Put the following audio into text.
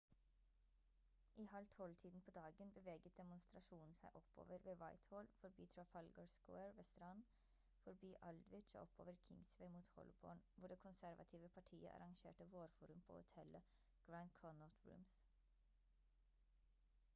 i halv tolv-tiden på dagen beveget demonstrasjonen seg oppover ved whitehall forbi trafalgar square ved strand forbi aldwych og oppover kingsway mot holborn hvor det konservative partiet arrangerte vårforum på hotellet grand connaught rooms